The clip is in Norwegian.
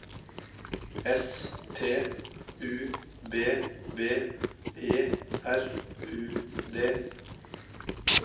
S T U B B E R U D